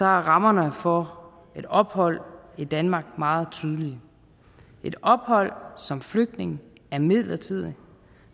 er rammerne for et ophold i danmark meget tydelige et ophold som flygtning er midlertidigt